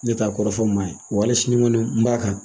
Ne t'a kɔrɔfɔ maa ye, wa hali sini n kɔni b'a kan.